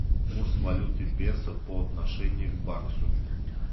курс валюты песо по отношению к баксу